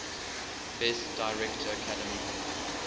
best director academy